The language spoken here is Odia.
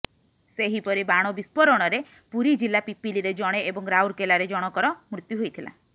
ସେହିପରି ବାଣ ବିସ୍ଫୋରଣରେ ପୁରୀ ଜିଲ୍ଲା ପିପିଲିରେ ଜଣେ ଏବଂ ରାଉରକେଲାରେ ଜଣକର ମୃତ୍ୟୁ ହୋଇଥିଲା